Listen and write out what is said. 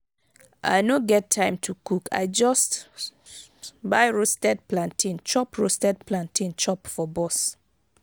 i no get time to cook i just buy roasted plantain chop roasted plantain chop for bus.